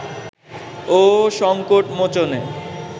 ও সংকট মোচনে